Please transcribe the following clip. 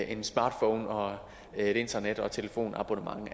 en smartphone og et internet og telefonabonnement